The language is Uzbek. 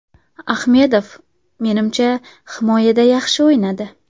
Ahmedov, menimcha, himoyada yaxshi o‘ynadi.